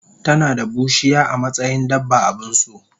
tanada bushiya amatsayin dabba abunso